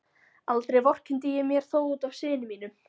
Aldrei vorkenndi ég mér þó út af syni mínum.